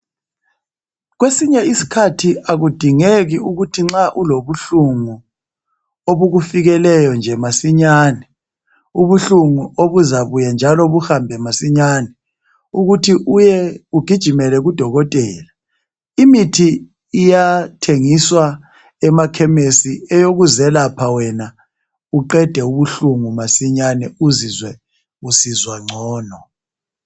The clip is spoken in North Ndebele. Kwesinye isikhathi akudingeki ukuthi nxa ulobuhlungu obukufikeleyo nje masinyane ubuhlungu obuzabuya buhambe masinyane ukuthi ugijimele kudokotela. Imithi iyathengiswa emakhemisi eyokuzelapha wena uzizwe ususizwa ngcono.